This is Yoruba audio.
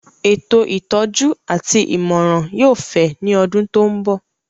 Ètò ìtọ́jú àti ìmọ̀ràn yóò fẹ̀ ní ọdún tó ń bọ̀